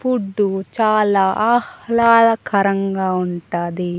Food చాలా ఆహ్లాదకరంగా ఉంటాది.